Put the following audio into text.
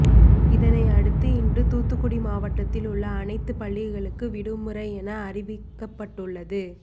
இதனை அடுத்து இன்று தூத்துக்குடி மாவட்டத்தில் உள்ள அனைத்து பள்ளிகளுக்கும் விடுமுறை என அறிவிக்கப்பட்டுள்ளது